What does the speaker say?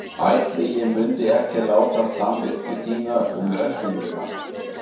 Ætli ég mundi ekki láta samvisku þína um refsinguna.